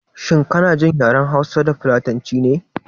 Shin kana jin yaren hausa da filatanci ne?